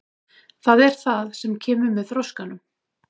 Það er það sem kemur með þroskanum.